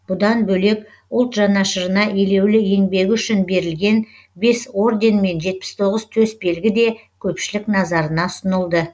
бұдан бөлек ұлт жанашырына елеулі еңбегі үшін берілген бес орден мен жетпіс тоғыз төсбелгі де көпшілік назарына ұсынылды